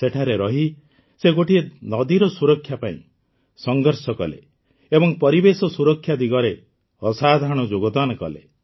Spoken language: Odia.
ସେଠାରେ ରହି ସେ ଗୋଟିଏ ନଦୀର ସୁରକ୍ଷା ପାଇଁ ସଂଘର୍ଷ କଲେ ଏବଂ ପରିବେଶ ସୁରକ୍ଷା ଦିଗରେ ଅସାଧାରଣ ଯୋଗଦାନ ଦେଲେ